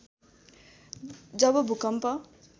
जब भूकम्प